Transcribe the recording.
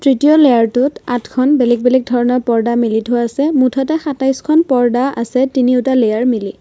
তৃতীয় লেয়াৰটোত আঠখন বেলেগ বেলেগ ধৰণৰ পৰ্দা মেলি থোৱা আছে মুঠতে সাতাইছখন পৰ্দা আছে তিনিওটা লেয়াৰ মিলি।